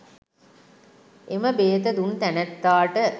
එම බේත දුන් තැනැත්තාට